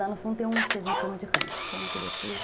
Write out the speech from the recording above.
Lá no fundo tem um que a gente chama de rancho, só uma cobertura.